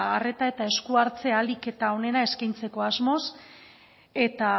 arreta eta eskuhartze ahalik eta onena eskaintzeko asmoz eta